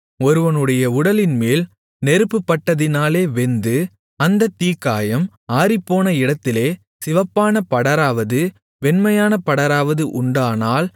ஒருவனுடைய உடலின்மேல் நெருப்புப்பட்டதினாலே வெந்து அந்த தீக்காயம் ஆறிப்போன இடத்திலே சிவப்பான படராவது வெண்மையான படராவது உண்டானால்